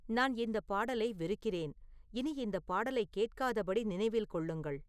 நான் இந்தப் பாடலை வெறுக்கிறேன் இனி இந்தப் பாடலைக் கேட்காதபடி நினைவில் கொள்ளுங்கள்